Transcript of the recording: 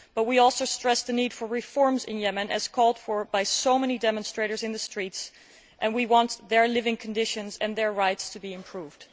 We also stress the need for reforms in Yemen, as called for by so many demonstrators in the streets, and we want their living conditions and their rights to be improved.